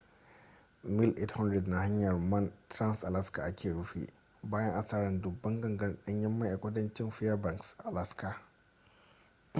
mil 800 na hanyar man trans-alaska aka rufe bayan asarar dubban gangar danyen mai a kudancin fairbanks alaska